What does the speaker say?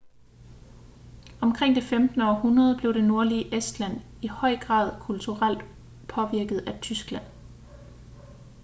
omkring det 15. århundrede blev det nordlige estland i høj grad kulturelt påvirket af tyskland